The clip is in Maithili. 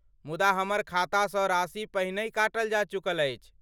मुदा हमर खातासँ राशि पहिनहि काटल जा चुकल अछि।